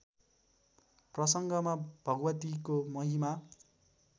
प्रसङ्गमा भगवतीको महिमा